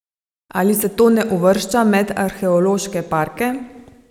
Ali se to ne uvršča med arheološke parke?